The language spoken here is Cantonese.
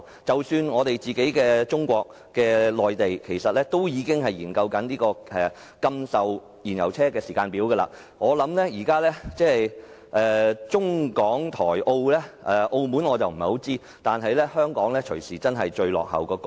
即使是中國內地亦已開始研究禁售燃油汽車時間表，現時在中港台澳中，雖然我不清楚澳門的情況，但香港很可能便是最落後的地方。